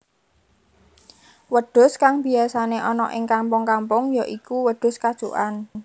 Wedhus kang biyasané ana ing kampung kampung ya iku wedhus kacukan